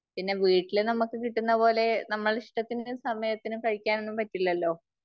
പിന്നെ വീട്ടില് നമുക്ക് കിട്ടുന്നത് പോലെ നമ്മുടെ ഇഷ്ടത്തിനും സമയത്തിനും കഴിക്കാനൊന്നും പറ്റില്ലല്ലോ.